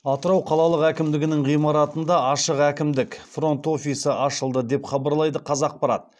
атырау қалалық әкімдігінің ғимаратында ашық әкімдік фронт офисі ашылды деп хабарлайды қазақпарат